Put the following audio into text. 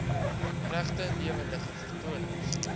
regte lewendige vertonings